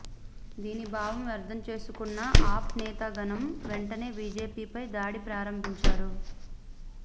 దీని భావం అర్థం చేసుకున్న ఆప్ నేతాగణం వెంటనే బీజేపీపై దాడి ప్రారంభించారు